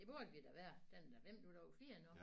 Det burde vi da være den er da 5 minutter over 4 nu